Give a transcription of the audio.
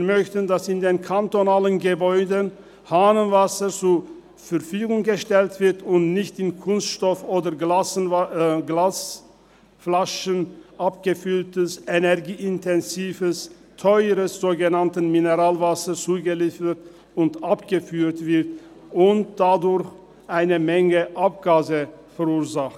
– Wir möchten, dass in den kantonalen Gebäuden Hahnenwasser zur Verfügung gestellt wird und nicht in Kunststoff oder Glasflaschen abgefülltes, energieintensives, teures, sogenanntes Mineralwasser zugeliefert und abgeführt wird, das eine Menge Abgase verursacht.